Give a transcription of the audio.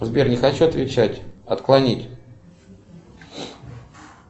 сбер не хочу отвечать отклонить